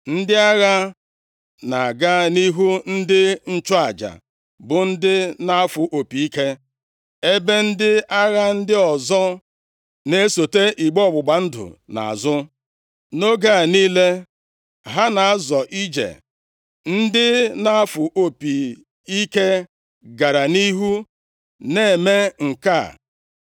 Ndị agha na-aga nʼihu ndị nchụaja bụ ndị na-afụ opi ike, ebe ndị agha ndị ọzọ na-esote igbe ọgbụgba ndụ nʼazụ. Nʼoge a niile ha na-azọ ije, ndị na-afụ opi ike gara nʼihu na-eme nke a.